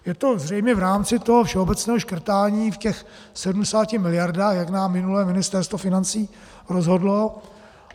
Je to zřejmě v rámci toho všeobecného škrtání v těch 70 miliardách, jak nám minule Ministerstvo financí rozhodlo.